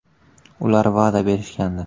Ular va’da berishgandi.